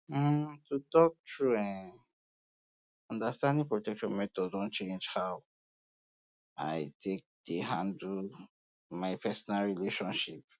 um to talk true eh understanding protection methods don change how um i take dey handle um my personal relationships